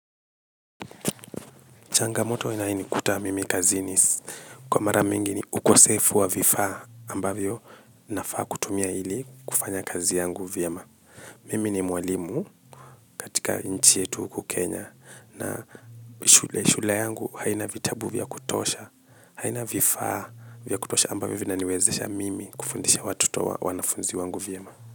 Changamoto inayonikuta mimi kazini kwa mara mingi ni ukosefu wa vifaa ambavyo nafaa kutumia hili kufanya kazi yangu vyema. Mimi ni mwalimu katika nchi yetu huku Kenya na shule yangu haina vitabu vya kutosha haina vifaa vya kutosha ambavyo vina niwezesha mimi kufundisha watoto wanafunzi wangu vyema.